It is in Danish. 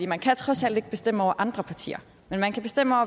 man kan trods alt ikke bestemme over andre partier men man kan bestemme